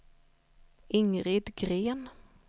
Ingrid Gren